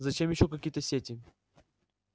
зачем ещё какие-то сети